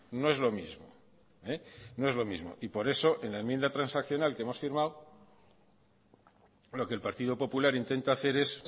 no es lo mismo no es lo mismo y por eso en la enmienda transaccional que hemos firmado lo que el partido popular intenta hacer es